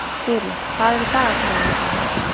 Þyrí, hvað er í dagatalinu í dag?